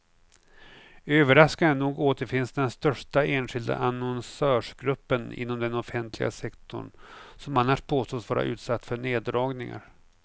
Överraskande nog återfinns den största enskilda annonsörsgruppen inom den offentliga sektorn, som annars påstås vara utsatt för neddragningar.